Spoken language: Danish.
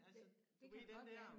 Altså du ved den der